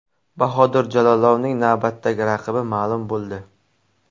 Bahodir Jalolovning navbatdagi raqibi ma’lum bo‘ldi.